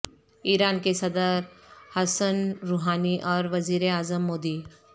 ایران کے صدر Hassan Rouhani اور وزیر اعظم مودی